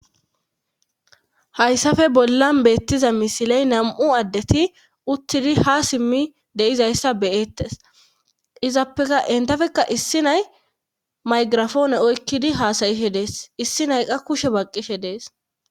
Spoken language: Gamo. hayssafe bollan beettiza misiley nam7u addeti uttidi ha simmi deizayssa beyettes izappeka entafekka issi nay maygirafoone oykkidi haasayishe dees issi nayqa kushe baqqishe dees